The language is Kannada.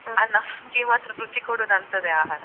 ಆದ್ರೆ ನಮ್ಗೆ ಮಾತ್ರ ರುಚಿ ಕೊಡುದು ಅಂತದ್ದೇ ಆಹಾರ.